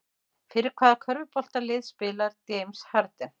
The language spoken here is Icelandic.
Fyrir hvaða körfuboltalið spilar James Harden?